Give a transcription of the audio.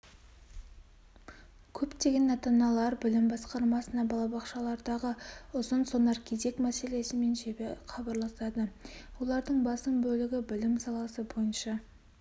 көптеген ата-аналар білім басқармасына балабақшалардағы ұзын-сонар кезек мәселесімен жиі хабарласады олардың басым бөлігі білім саласы бойынша